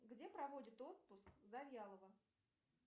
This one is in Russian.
где проводит отпуск завьялова